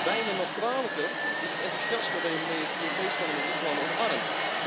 Bijna nog kwalijker is het enthousiasme waarmee het Europees Parlement dit plan omarmt.